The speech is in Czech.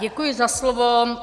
Děkuji za slovo.